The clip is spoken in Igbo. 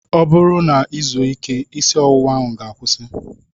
Ọ bụrụ na I zuo ike, isi ọwụwa ahụ ga-akwusi